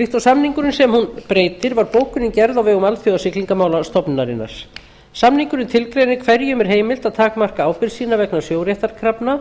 líkt og samningurinn sem hún breytir var bókunin gerð á vegum alþjóðasiglingamálastofnunarinnar samningurinn tilgreinir hverjum er heimilt að takmarka ábyrgð sína vegna sjóréttarkrafna